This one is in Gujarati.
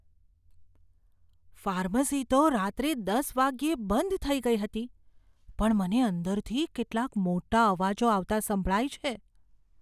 ફાર્મસી તો રાત્રે દસ વાગ્યે બંધ થઈ ગઈ હતી. પણ મને અંદરથી કેટલાક મોટા અવાજો આવતા સંભળાય છે.